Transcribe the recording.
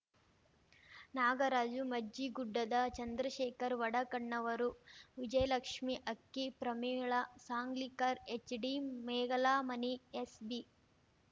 ನಾಗರಾಜು ಮಜ್ಜಿಗುಡ್ಡದ ಚಂದ್ರಶೇಖರ್ ವಡಕಣ್ಣವರು Vijayalakshmi Akki Pramila Sanglikar HD Megalamani SB